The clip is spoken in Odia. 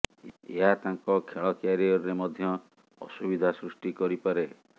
ଏହା ତାଙ୍କ ଖେଳ କ୍ୟାରିୟରରେ ମଧ୍ୟ ଅସୁବିଧା ସୃଷ୍ଟି କରିପାରେ